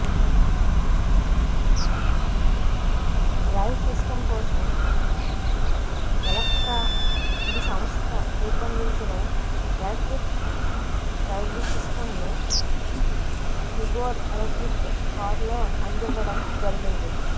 drive system కోసం Electra EV సంస్థ రూపొందించిన ఎలక్ట్రిక్ డ్రైవ్సిస్టమ్ను టిగోర్ ఎలక్ట్రిక్ కారులో అందివ్వడం జరిగింది